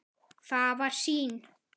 Það var sýn.